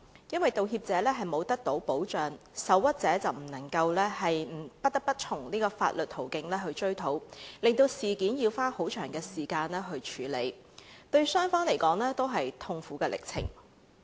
因為道歉者未能得到保障，受屈者便不得不從法律途徑追討，令事件要花很長時間處理，對雙方都是痛苦歷程。